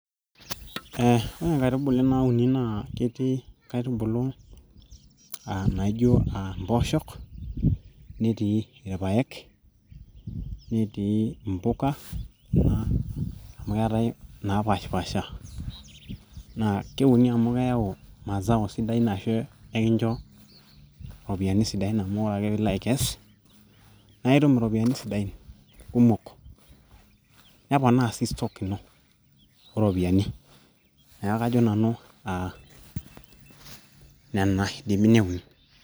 eh, ore inkaitubulu nauni naa ketii nkaitubulu aa naijo uh, impooshok netii irpayek netii impuka kuna amu keetae inaapashipasha naa keuni amu keyau mazao sidain ashu ekincho ropiyiani sidain amu ore ake piilo aikes naa itum iropiyiani sidain kumok neponaa sii stock ino ooropiyiani neeku kajo nanu nena idimi neuni.